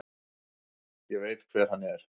Ég veit hver hann er.